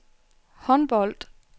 håndbold